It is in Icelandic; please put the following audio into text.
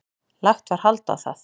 Lagt var hald á það.